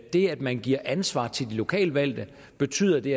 det at man gav ansvar til de lokalt valgte betød at de